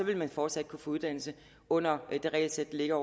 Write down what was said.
vil man fortsat kunne få uddannelse under det regelsæt der ligger